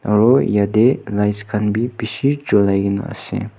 aro yatey lights khan bi bishi chulaigena ase.